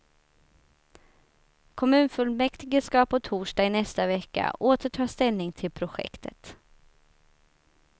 Kommunfullmäktige ska på torsdag i nästa vecka åter ta ställning till projektet.